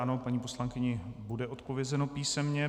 Ano, paní poslankyni bude odpovězeno písemně.